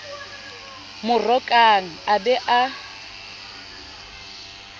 mo rokang a be a